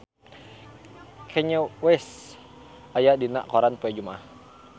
Kanye West aya dina koran poe Jumaah